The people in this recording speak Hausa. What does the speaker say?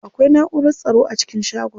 Akwai naʼurar tsaro a cikin shagon.